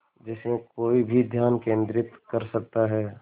जिसमें कोई भी ध्यान केंद्रित कर सकता है